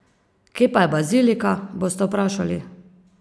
Kje pa je bazilika, boste vprašali!